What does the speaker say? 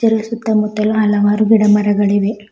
ಇಲ್ಲಿ ಸುತ್ತ ಮುತ್ತಲೂ ಹಲವಾರು ಗಿಡ ಮರಗಳಿವೆ.